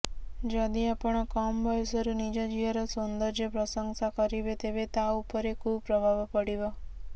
ଯଦି ଆପଣ କମ ବୟସରୁ ନିଜ ଝିଅର ସୌନ୍ଦର୍ଯ୍ୟ ପ୍ରଶଂସା କରିବେ ତେବେ ତା ଉପରେ କୁପ୍ରଭାବ ପଡିବ